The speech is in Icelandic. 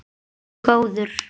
Gæi frændi var penni góður.